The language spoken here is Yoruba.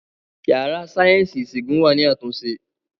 Yàrá sáyẹ́ǹsì ìṣègùn wà ní àtúnṣe